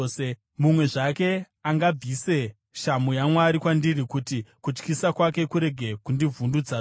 mumwe zvake angabvise shamhu yaMwari kwandiri, kuti kutyisa kwake kurege kundivhundutsazve.